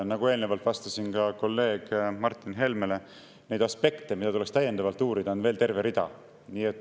Nagu ma eelnevalt vastasin ka kolleeg Martin Helmele, neid aspekte, mida tuleks täiendavalt uurida, on veel terve rida.